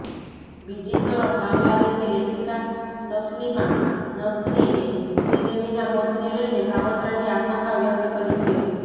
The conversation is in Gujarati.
બીજીતરફ બાંગ્લાદેશી લેખિકા તસલીમા નસરીને શ્રીદેવીના મોતને લઈને કાવતરાની આશંકા વ્યક્ત કરી છે